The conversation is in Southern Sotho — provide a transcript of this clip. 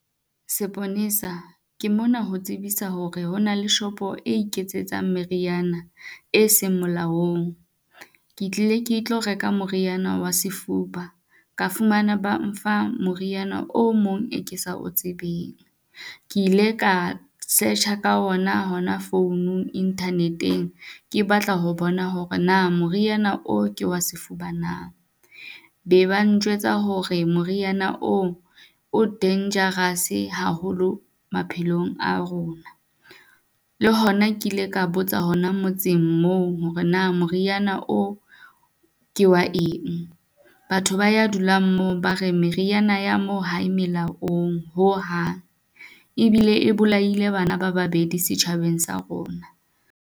Seponesa ke mona ho tsebisa hore ho na le shopo e iketsetsang meriana e seng molaong. Ke tlile ke tlo reka moriana wa sefuba, ka fumana ba mfa moriana o mong e ke sa o tsebeng. Ke ile ka search-a ka ona hona founung internet-eng, ke batla ho bona hore na moriana o ke wa sefuba na? Be ba njwetsa hore moriana oo o dangerous-e haholo maphelong a rona. Le hona ke ile ka botsa hona motseng moo hore na moriana o ke wa eng? Batho ba ya dulang moo ba re meriana ya moo hae melaong ho hang, e bile e bolaile bana ba babedi setjhabeng sa rona.